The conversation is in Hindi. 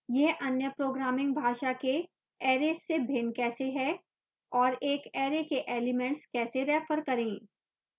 यह अन्य programming भाषा के arrays से भिन्न कैसे है और एक array के एलिमेंट्स कैसे रेफर करें